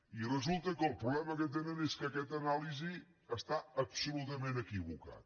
i resulta que el problema que tenen és que aquesta anàlisi està absolutament equivocada